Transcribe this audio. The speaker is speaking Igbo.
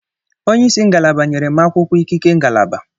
Onye isi ngalaba nyere m akwụkwọ ikike ngalaba.